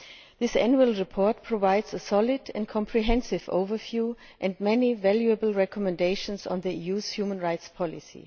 This annual report provides a solid and comprehensive overview and many valuable recommendations on the EU's human rights policy.